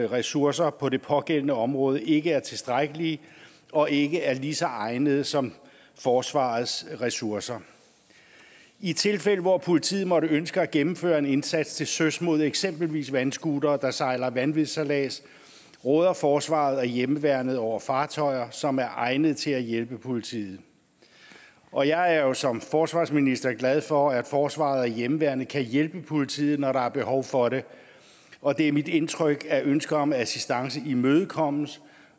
ressourcer på det pågældende område ikke er tilstrækkelige og ikke er lige så egnede som forsvarets ressourcer i de tilfælde hvor politiet måtte ønske at gennemføre en indsats til søs mod eksempelvis vandscootere der sejler vanvidssejlads råder forsvaret og hjemmeværnet over fartøjer som er egnede til at hjælpe politiet og jeg er jo som forsvarsminister glad for at forsvaret og hjemmeværnet kan hjælpe politiet når der er behov for det og det er mit indtryk at ønsker om assistance imødekommes